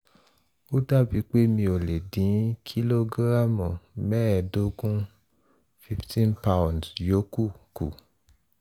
ó dàbí pé mi ò lè dín kìlógíráàmù mẹ́ẹ̀ẹ́dógún - fifteen pound yòókù kù